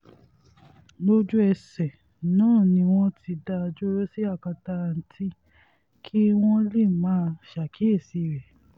lójú-ẹsẹ̀ náà ni wọ́n ti dá a dúró sí akátá ndtea kí wọ́n lè máa ṣàkíyèsí rẹ̀